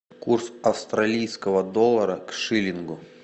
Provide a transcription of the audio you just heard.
курс австралийского доллара к шиллингу